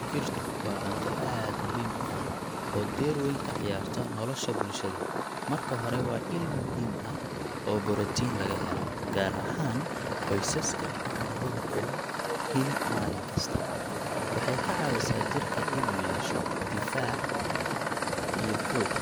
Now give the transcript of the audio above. Digirtu waa cunto aad muhiim u ah oo door weyn ka ciyaarta nolosha bulshada. Marka hore, waa il muhiim ah oo borotiin laga helo, gaar ahaan qoysaska aan heli karin hilib maalin kasta. Waxay ka caawisaa jirka inuu yeesho difaac iyo xoog ,